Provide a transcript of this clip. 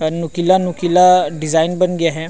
नुकीला-नुकीला design बन गया है।